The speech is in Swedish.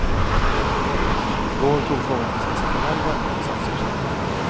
I går tog frågan en sensationell vändning i stadshuset.